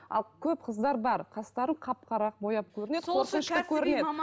ал көп қыздар бар қастарын қап қара қылып бояп көрінеді қорқынышты көрінеді